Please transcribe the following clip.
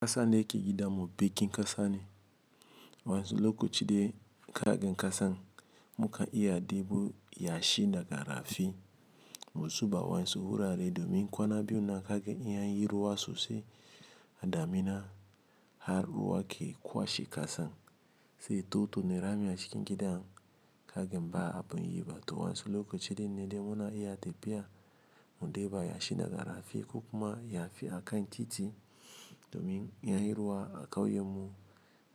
Kasa ne yake gidan mu, bekin kasa ne. Wayansu lokaci dai kagan kasan mukan iya ɗebo yashi daga rafi, muzuba awayansu wurare domin kagan kwana biyunnan kaga in anyi ruwa sosai har ruwa yake kwashe kasan sai to to na rami a cikin gidan ka gan ba abun yi ba. To wancan lokacin ne dai muna iya tafiya mu deba yashi da ga rafi ko kuma ya fi akan titi domin in yi ruwa a kauyen mu